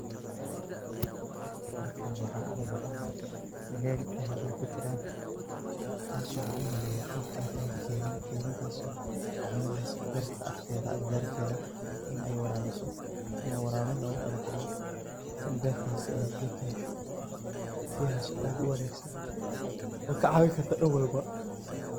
Halkan waxaa ka muuqda meel ay biyaha ku jiraan, taas oo u maleynayo inay tahay keydhin. Keydhintaas oo ka caawinayso barta agteeda, agagaarka warabiso ama warabin loogu talagalay in ay beertaas ay biyo ka hesho. Biyahaas oo aad u wanaagsan, oo ka caawin karto dhan walba